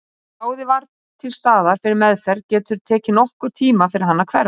Ef kláði var til staðar fyrir meðferð getur tekið nokkurn tíma fyrir hann að hverfa.